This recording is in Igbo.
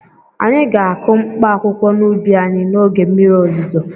Anyị ga-akụ mkpaakwụkwọ n'ubi anyị n'oge mmiri ozuzo.